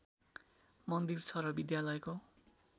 मन्दिर छ र विद्यालयको